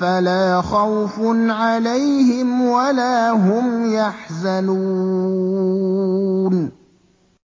فَلَا خَوْفٌ عَلَيْهِمْ وَلَا هُمْ يَحْزَنُونَ